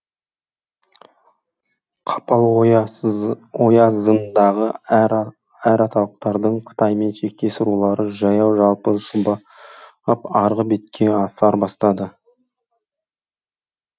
қапал оязындағы әр аталықтардың қытаймен шектес рулары жаяу жалпы шұбап арғы бетке аса бастады